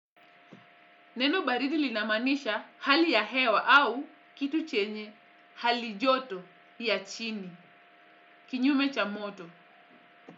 Neno baridi linamaanisha hali ya hewa au kitu chenye hali joto ya chini kinyume cha moto.